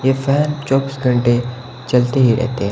ये फैन चौबीस घंटे चलते ही रहते है।